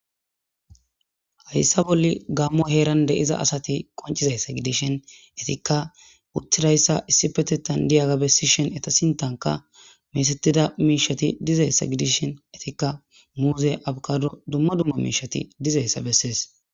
Hayssa bolla gaamo heeran de'iza asati qonccizaynne eetikka utidayssa issippetethan di'aga bessishin eeta sinthankka miishati dizayssa dishin muuzey aabokadoy dumma dumma miishati dizayssa besses.